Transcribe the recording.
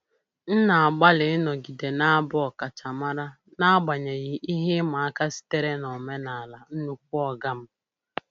M na-agbalị ịnọgide na-abụ ọkachamara n'agbanyeghị ihe ịma aka sitere n'omenala "nnukwu oga m".